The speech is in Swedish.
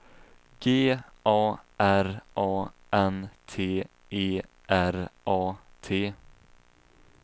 G A R A N T E R A T